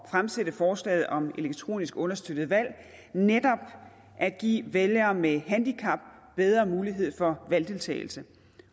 fremsætte forslaget om elektronisk understøttede valg netop at give vælgere med handicap bedre mulighed for valgdeltagelse